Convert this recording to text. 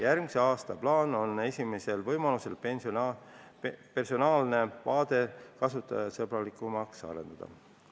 Järgmise aasta plaan on esimesel võimalusel personaalne vaade kasutajasõbralikumaks arendada.